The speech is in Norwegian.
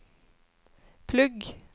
plugg